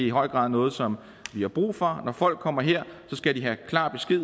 i høj grad er noget som vi har brug for når folk kommer her skal de have klar besked